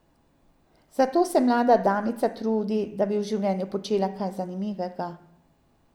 Zato se mlada damica trudi, da bi v življenju počela kaj zanimivega.